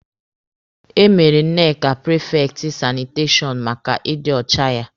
E mere Nneka prifekti sanitashọn maka ịdị ọcha ya.